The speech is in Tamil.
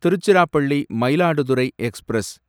திருச்சிராப்பள்ளி மயிலாடுதுறை எக்ஸ்பிரஸ்